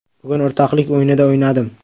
Bugun o‘rtoqlik o‘yinida o‘ynadim.